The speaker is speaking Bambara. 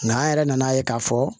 Nka an yɛrɛ nan'a ye k'a fɔ